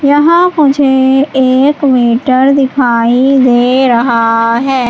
यहां मुझे एक मीटर दिखाई दे रहा है।